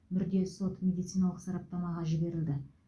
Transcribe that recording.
мүрде сот медициналық сараптамаға жіберілді